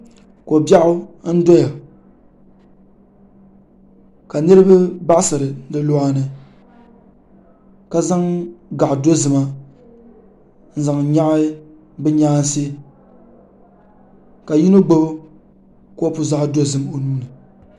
Kobiɛɣu n doya ka niriba baɣasiri di luɣani ka zaŋ gaɣa dozima n zaŋ nyaɣi bɛ nyaansi ka yino gbibi kopu zaɣa dozim o nuuni.